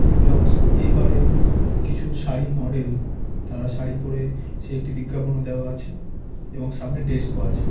এবং এই পারে কিছু শাড়ির মডেল | তাঁরা শাড়ি পড়ে সে একটি বিজ্ঞাপনও দেওয়া আছে | এবং সামনে ডেস্ক ও আছে।